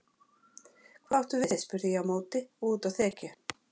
Hvað áttu við spurði ég á móti og úti á þekju.